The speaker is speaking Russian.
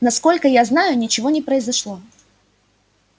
насколько я знаю ничего не произошло